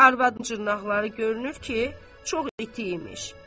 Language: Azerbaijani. Arvadın dırnaqları görünür ki, çox iti imiş.